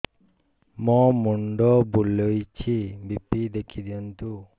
ମୋର ମୁଣ୍ଡ ବୁଲେଛି ବି.ପି ଦେଖି ଦିଅନ୍ତୁ